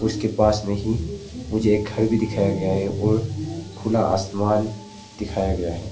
उसके पास में ही मुझे एक घर भी दिखाया गया है और खुला आसमान दिखाया गया है।